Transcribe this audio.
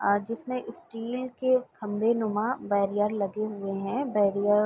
अ जिसमें स्टील के खम्भेनुमा बैरियर लगे हुए हैं। बैरियर --